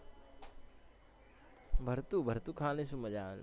ભરતું ભરતું ખાવાની શું મજ્જા આવે અલ્યા